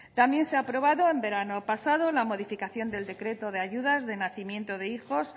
también se ha aprobado el verano pasado la modificación del decreto de ayudas de nacimiento de hijos